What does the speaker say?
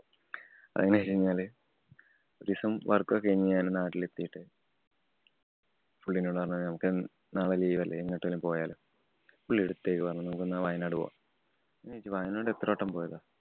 അതുന്നു വച്ചഴിഞ്ഞാല് ഒരീസം work ഒക്കെ കഴിഞ്ഞ് ഞാന്‍ നാട്ടിലെത്തിട്ട് പുള്ളി എന്നോട് പറഞ്ഞു. നമുക്ക് നാളെ leave അല്ലേ. എങ്ങോട്ടേലും പോയാലോ? പുള്ളി എടുത്ത വഴിക്ക് പറഞ്ഞു. നമുക്ക് എന്നാ വയനാട് പോവാം. ഞാന്‍ ചോദിച്ചു വയനാട് എത്ര വട്ടം പോയതാ?